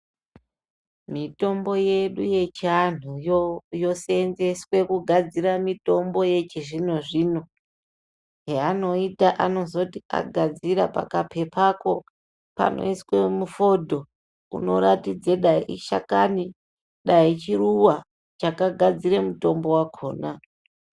Mitombo yedu yechiantuyo yosenzese kugadzira mitombo yechizvino-zvino. Zvanoita anozoti agadzira pakapepako panoiswe mufondo. Unoratidze dai ishakani dai chiruva chakagadzire mutombo vakona.